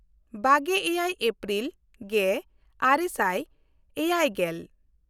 ᱵᱟᱜᱮᱼᱮᱭᱟᱭ April ᱜᱮᱼᱟᱨᱮ ᱥᱟᱭ ᱮᱭᱟᱭᱜᱮᱞ